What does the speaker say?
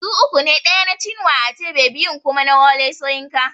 Su uku ne ɗaya na Chinua Achebe biyun kuma na Wole Soyinka